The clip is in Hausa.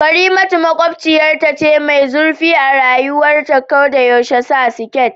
Karimatu makwabciyarta ce mai zurfi a rayuwa ta ko da yaushe sa skit